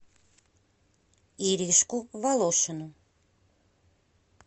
иришку волошину